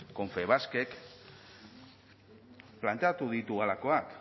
confebaskek planteatu ditu halakoak